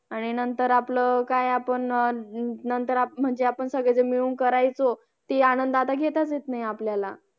आणि नंतर आपलं काय पण नंतर अं म्हणजे आपण सगळे जण मिळून करायचो ती आनंद आता घेताच येत नयी आपल्याला